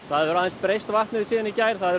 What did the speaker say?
það hefur aðeins breyst vatnið síðan í gær það er